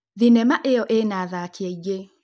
Thinema ĩyo ĩna athaki aingĩ